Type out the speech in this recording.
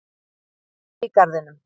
Hvergi í garðinum.